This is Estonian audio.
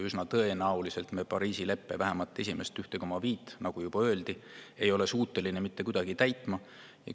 Üsna tõenäoliselt me vähemalt Pariisi leppe esimest 1,5 kraadi, nagu juba öeldi, ei ole suutelised mitte kuidagi täitma.